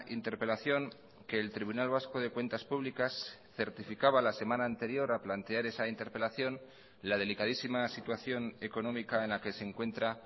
interpelación que el tribunal vasco de cuentas públicas certificaba la semana anterior a plantear esa interpelación la delicadísima situación económica en la que se encuentra